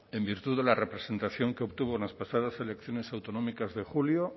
en virtud de la representación que obtuvo en las pasadas elecciones autonómicas de julio